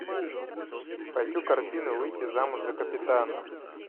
хочу картину выйти замуж за капитана